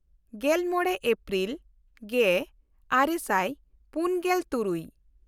ᱜᱮᱞᱢᱚᱬᱮ April ᱜᱮᱼᱟᱨᱮ ᱥᱟᱭ ᱯᱩᱱᱜᱮᱞ ᱛᱩᱨᱩᱭ